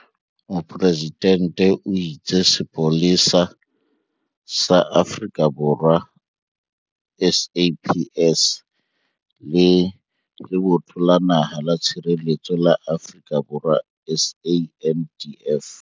Mopresidente o itse Sepolesa sa Afrika Borwa, SAPS le Lebotho la Naha la Tshireletso la Afrika Borwa, SANDF,